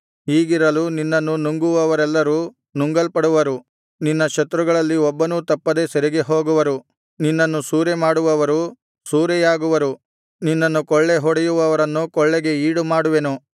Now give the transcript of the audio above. ಹೀಗಿರಲು ನಿನ್ನನ್ನು ನುಂಗುವವರೆಲ್ಲರು ನುಂಗಲ್ಪಡುವರು ನಿನ್ನ ಶತ್ರುಗಳಲ್ಲಿ ಒಬ್ಬನೂ ತಪ್ಪದೆ ಸೆರೆಗೆ ಹೋಗುವರು ನಿನ್ನನ್ನು ಸೂರೆಮಾಡುವವರು ಸೂರೆಯಾಗುವರು ನಿನ್ನನ್ನು ಕೊಳ್ಳೆ ಹೊಡೆಯುವವರನ್ನು ಕೊಳ್ಳೆಗೆ ಈಡುಮಾಡುವೆನು